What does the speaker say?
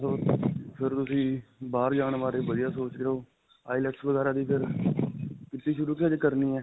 ਮੈਂ ਸੋਚ ਫਿਰ ਤੁਸੀਂ ਬਾਹਰ ਜਾਣ ਬਾਰੇ ਵਧੀਆ ਸੋਚ ਰਹੇ ਹੋ. IELTS ਵਗੈਰਾ ਦੀ ਫਿਰ ਕੀਤੀ ਸ਼ੁਰੂ ਕਿ ਹਜੇ ਕਰਨੀ ਹੈ?